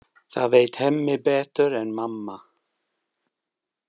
Það veit Hemmi betur en mamma.